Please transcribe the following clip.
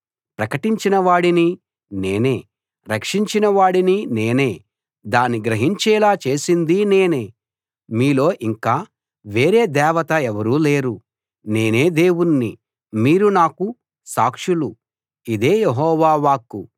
ప్రకటించిన వాడినీ నేనే రక్షించిన వాడినీ నేనే దాన్ని గ్రహించేలా చేసిందీ నేనే మీలో ఇంకా వేరే దేవత ఎవరూ లేరు నేనే దేవుణ్ణి మీరు నాకు సాక్షులు ఇదే యెహోవా వాక్కు